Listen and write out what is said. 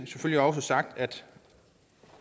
selvfølgelig også sagt at